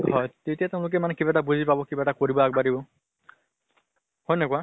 হয়। তেতিয়া তেওঁলোকে মানে কিবা এটা বুজি পাব, কিবা এটা কৰিব আগ বাঢ়িব। হয় নে নহয় কোৱা?